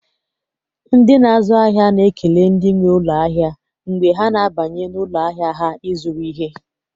Ndị na-azụ ahịa na-ekele ndị nwe ụlọ ahịa mgbe ha na-abanye n'ụlọ ahịa ha ịzụrụ ihe.